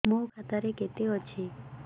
ମୋ ଖାତା ରେ କେତେ ଅଛି